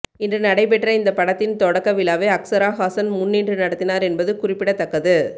இன்று நடைபெற்ற இந்த படத்தின் தொடக்கவிழாவை அக்சராஹாசன் முன்னின்று நடத்தினார் என்பது குறிப்பிடத்தக்கது